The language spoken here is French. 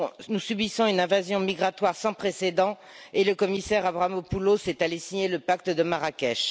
nous subissons une invasion migratoire sans précédent et le commissaire Avramopoulos est allé signer le pacte de Marrakech.